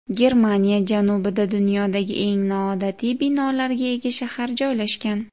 Germaniya janubida dunyodagi eng noodatiy binolarga ega shahar joylashgan.